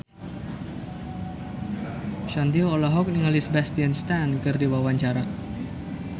Shanti olohok ningali Sebastian Stan keur diwawancara